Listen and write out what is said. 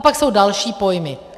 A pak jsou další pojmy.